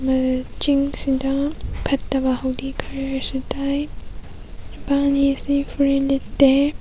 ꯑꯝ ꯆꯤꯡ ꯁꯤꯗ ꯐꯠꯇꯕ ꯍꯥꯎꯗꯤ ꯈꯔꯁꯨ ꯇꯥꯏ ꯅꯨꯄꯥ ꯑꯅꯤꯁꯤ ꯐꯨꯔꯤꯠ ꯂꯤꯠꯇꯦ꯫